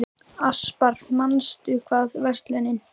Aspar, manstu hvað verslunin hét sem við fórum í á fimmtudaginn?